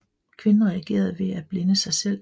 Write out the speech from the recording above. Kvinden reagerede med at blinde sig selv